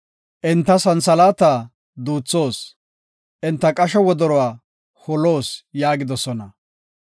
“Enta santhalaata duuthoos; enta qasho wodoruwa holoos” yaagidosona.